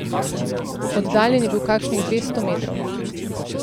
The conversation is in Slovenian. Oddaljen je bil kakšnih dvesto metrov.